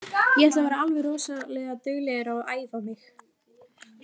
Ég ætla að vera alveg rosalega duglegur að æfa mig.